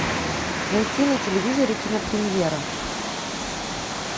найти на телевизоре кинопремьера